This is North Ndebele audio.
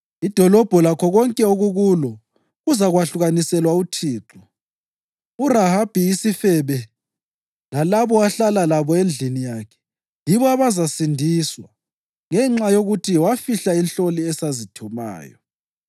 Idolobho lakho konke okukulo kuzakwahlukaniselwa uThixo. URahabi isifebe lalabo ahlala labo endlini yakhe yibo abazasindiswa ngenxa yokuthi wafihla inhloli esazithumayo.